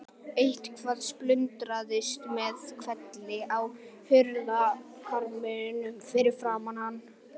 Eitthvað splundraðist með hvelli á hurðarkarminum fyrir framan hann.